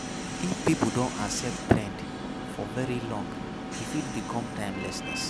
If pipo don accept trend for very long e fit become timelessness